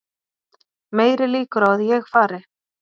Meiri líkur á að ég fari